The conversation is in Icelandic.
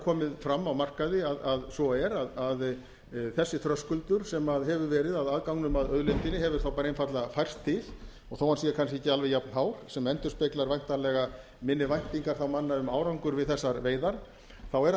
komið fram á markaði að svo er að þessi þröskuldur sem hefur verið að aðganginum að auðlindinni hefur þá bara einfaldlega færst til og þó hann sé kannski ekki alveg jafnhár sem endurspeglar væntanlega minni væntingar manna um árangur við þessar veiðar þá er hann engu